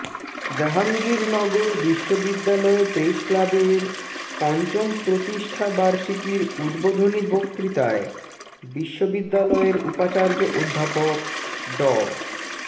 জাহাঙ্গীরনগর বিশ্ববিদ্যালয় প্রেস ক্লাবের পঞ্চম প্রতিষ্ঠা বার্ষিকীর উদ্বোধনী বক্তৃতায় বিশ্ববিদ্যালয়ের উপাচার্য অধ্যাপক ড